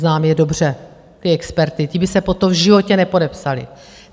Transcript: Znám je dobře, ty experty, ti by se pod to v životě nepodepsali.